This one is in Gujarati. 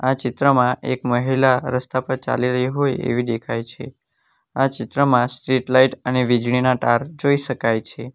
આ ચિત્રમાં એક મહિલા રસ્તા પર ચાલી રહી હોય એવી દેખાય છે આ ચિત્રમાં સ્ટ્રીટ લાઈટ અને વીજળીના તાર જોઈ શકાય છે.